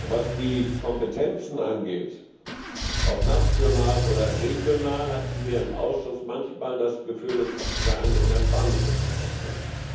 Was die Kompetenzen angeht ob national oder regional hatten wir im Ausschuss manchmal das Gefühl, es sei eine innerspanische Diskussion.